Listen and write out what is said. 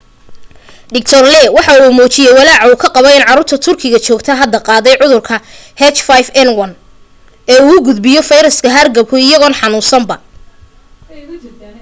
dr. lee waxa uu muujiyay walaaca uu ka qabo in caruurta turkiga joogta hadda qaaday cudurka h5n1 ee uu gudbiyo fayraska hargabku iyagoon xanuunsanba